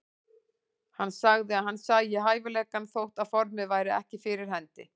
Hann sagði að hann sæi hæfileikana þótt formið væri ekki fyrir hendi.